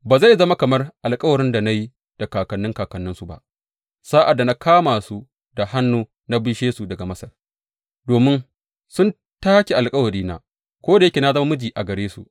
Ba zai zama kamar alkawarin da na yi da kakanni kakanninsu ba sa’ad da na kama su da hannu na bishe su daga Masar, domin sun take alkawarina, ko da yake na zama miji a gare su,